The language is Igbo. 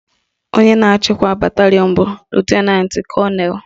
Onye na-achịkwa batalịọn bụ Lutenantị Kọnelụ